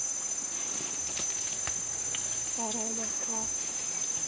старая москва